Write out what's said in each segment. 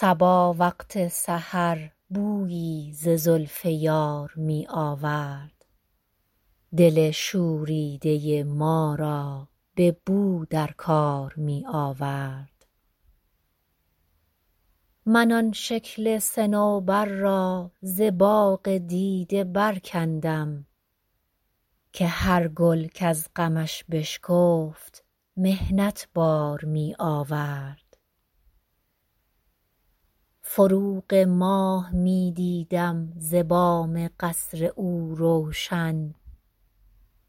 صبا وقت سحر بویی ز زلف یار می آورد دل شوریده ما را به نو در کار می آورد من آن شکل صنوبر را ز باغ دیده برکندم که هر گل کز غمش بشکفت محنت بار می آورد فروغ ماه می دیدم ز بام قصر او روشن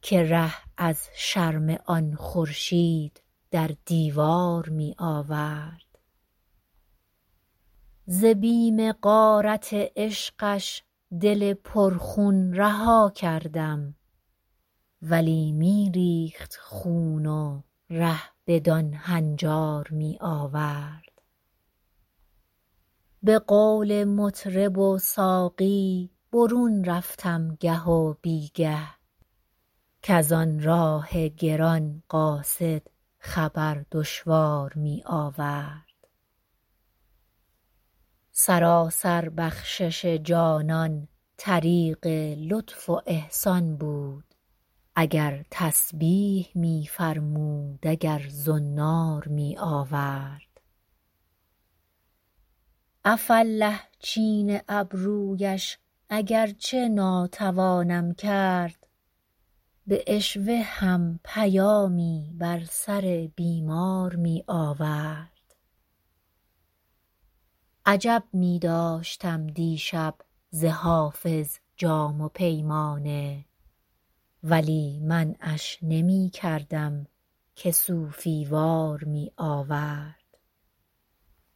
که رو از شرم آن خورشید در دیوار می آورد ز بیم غارت عشقش دل پرخون رها کردم ولی می ریخت خون و ره بدان هنجار می آورد به قول مطرب و ساقی برون رفتم گه و بی گه کز آن راه گران قاصد خبر دشوار می آورد سراسر بخشش جانان طریق لطف و احسان بود اگر تسبیح می فرمود اگر زنار می آورد عفاالله چین ابرویش اگر چه ناتوانم کرد به عشوه هم پیامی بر سر بیمار می آورد عجب می داشتم دیشب ز حافظ جام و پیمانه ولی منعش نمی کردم که صوفی وار می آورد